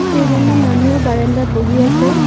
কেইজনমান মানুহ বাৰাণ্ডাত বহি আছে।